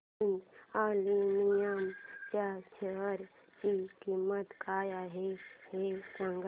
Hind aluminium च्या share ची किंमत काय आहे हे सांगा